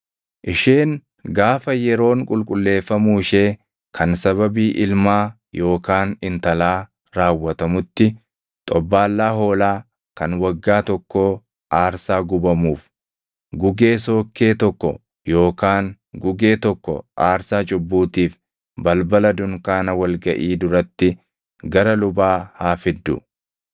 “ ‘Isheen gaafa yeroon qulqulleeffamuu ishee kan sababii ilmaa yookaan intalaa raawwatamutti, xobbaallaa hoolaa kan waggaa tokkoo aarsaa gubamuuf, gugee sookkee tokko yookaan gugee tokko aarsaa cubbuutiif balbala dunkaana wal gaʼii duratti gara lubaa haa fiddu.